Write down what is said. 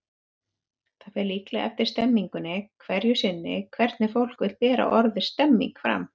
Það fer líklega eftir stemningunni hverju sinni hvernig fólk vill bera orðið stemning fram.